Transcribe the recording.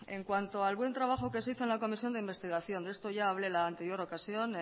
en cuanto al buen trabajo que se hizo en la comisión de investigación de esto ya hablé en la anterior ocasión